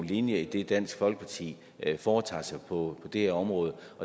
linje i det dansk folkeparti foretager sig på det her område